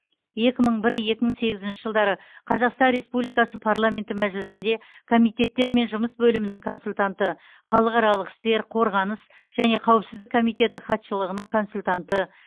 екі мың бір екі мың сегізінші жылдары қазақстан республикасы парламенті мәжілісінде комитеттермен жұмыс бөлімінің консультанты халықаралық істер қорғаныс және қауіпсіздік комитеті хатшылығының консультанты